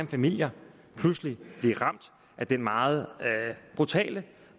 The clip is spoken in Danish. familier pludselig blive ramt af den meget brutale